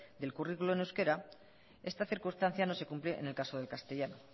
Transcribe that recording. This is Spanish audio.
del currículum en euskera esta circunstancia no se cumple en el caso del castellano